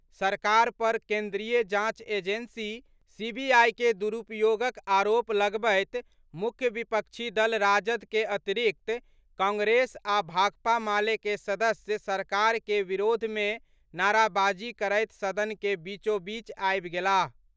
सरकार पर केंद्रीय जांच एजेंसी, सीबीआई के दुरूपयोगक आरोप लगबैत मुख्य विपक्षी दल राजद के अतिरिक्त कांग्रेस आ भाकपा माले के सदस्य सरकार के विरोध मे नाराबाजी करैत सदन के बीचोबीच आबि गेलाह।